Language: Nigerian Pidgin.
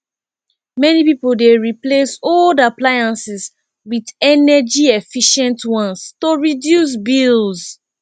many pipo dey replace old appliances with energyefficient ones to reduce bills